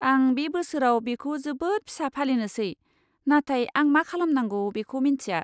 आं बे बोसोराव बेखौ जोबोद फिसा फालिनोसै, नाथाय आं मा खालामनांगौ बेखौ मिन्थिया।